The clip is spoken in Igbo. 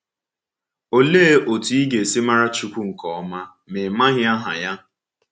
Òlee otú ị ga-esi mara Chukwu nke ọma ma ị maghị aha Ya?